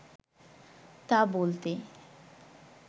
তা বলতে